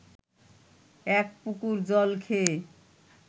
এক পুকুর জল খেয়ে